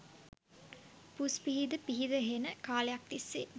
පුස් පිහිද පිහිද හෙන කාලයක් තිස්සේ